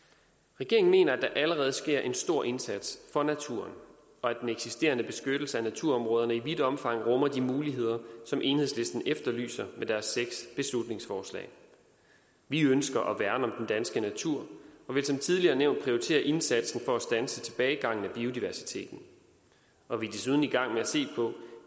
regeringen mener at der allerede sker en stor indsats for naturen og at den eksisterende beskyttelse af naturområderne i vidt omfang rummer de muligheder som enhedslisten efterlyser med deres seks beslutningsforslag vi ønsker at værne om den danske natur og vil som tidligere nævnt prioritere indsatsen for at standse tilbagegangen i biodiversiteten og vi er desuden i gang med at se på